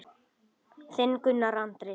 Þinn Gunnar Andri.